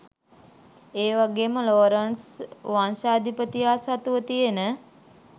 ඒවගේම ලෝරන්ට්ස් වංශාධිපතියා සතුව තියෙන